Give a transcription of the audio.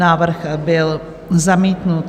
Návrh byl zamítnut.